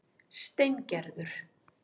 Steingerður